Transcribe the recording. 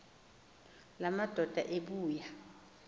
la madoda ebuya